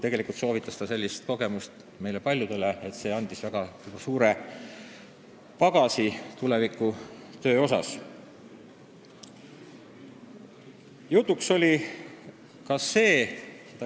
Ta soovitas sellist kogemust meile paljudele, sest see andis talle väga suure pagasi tuleviku töö jaoks.